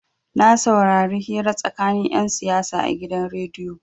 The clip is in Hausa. Na saurari hira tsakanin 'yan siyasa a gidan rediyo.